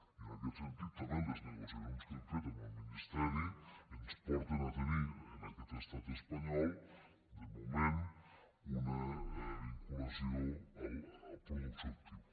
i en aquest sentit també les negociacions que hem fet amb el ministeri ens porten a tenir en aquest estat espanyol de moment una vinculació al productor actiu